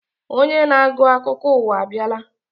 Onye na-agụ akụkọ ụwa abịala.